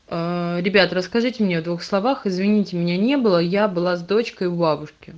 а ребята расскажите мне о двух словах извините меня не было я была с дочкой у бабушки